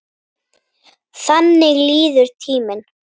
Þannig líður tíminn.